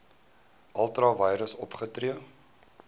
ultra vires opgetree